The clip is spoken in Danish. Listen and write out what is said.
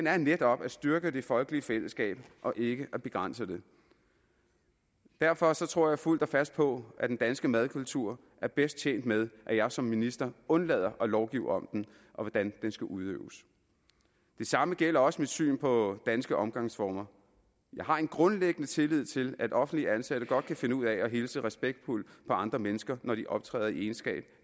er netop at styrke det folkelige fællesskab og ikke at begrænse det derfor tror jeg fuldt og fast på at den danske madkultur er bedst tjent med at jeg som minister undlader at lovgive om den og hvordan den skal udøves det samme gælder også mit syn på danske omgangsformer jeg har en grundlæggende tillid til at offentligt ansatte godt kan finde ud af at hilse respektfuldt på andre mennesker når de optræder i egenskab